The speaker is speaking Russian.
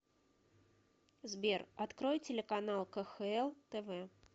сбер открой телеканал кхл тв